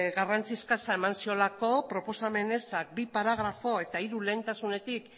garrantzi eskasa eman ziolako proposamen eza bi paragrafo eta hiru lehentasunetik